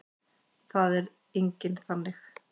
Það er enginn þannig.